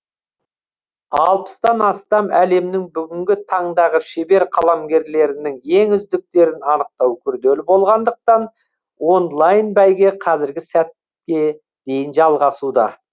алпыстан астам әлемнің бүгінгі таңдағы шебер қаламгерлерінің ең үздіктерін анықтау күрделі болғандықтан онлайн бәйге қазіргі сәтке дейін жалғасуда